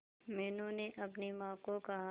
मीनू ने अपनी मां को कहा